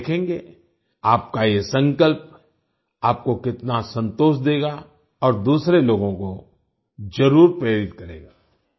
आप देखेंगे आपका ये संकल्प आपको कितना सन्तोष देगा और दूसरे लोगों को ज़रूर प्रेरित करेगा